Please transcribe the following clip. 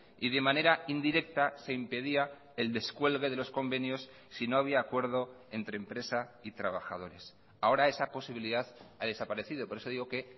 y de manera indirecta se impedía el descuelgue de los convenios si no había acuerdo entre empresa y trabajadores ahora esa posibilidad ha desaparecido por eso digo que